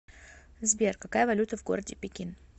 сбер какая валюта в городе пекин